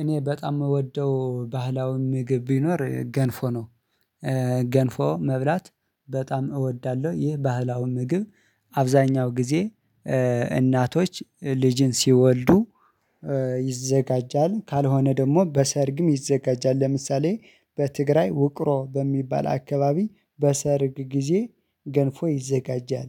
እኔ በጣም እምወደው ባህላዊ ምግብ ቢኖር ገንፎ ነው። ገንፎ መብላት በጣም እወዳለሁ። ይህ ባህላው ምግብ አብዛኛው ጊዜ እናቶች ልጅን ሲወልዱ ይዘጋጃል ካልሆነ ደግሞ በሰርግም ይዘጋጃል። ለምሳሌ በትግራይ ውቅሮ በሚባል አካባቢ በሰርግ ጊዜ ገንፎ ይዘጋጃል።